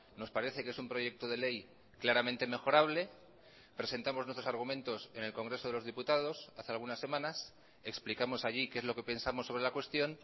nos parece que es un proyecto de ley claramente mejorable presentamos nuestros argumentos en el congreso de los diputados hace algunas semanas explicamos allí qué es lo que pensamos sobre la cuestión